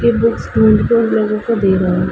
ये बुक्स ढूंढ के लोगों को दे रहा है।